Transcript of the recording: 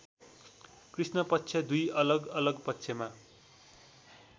कृष्ण पक्ष दुई अलगअलग पक्षमा